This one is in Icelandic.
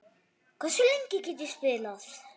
Hversu lengi get ég spilað?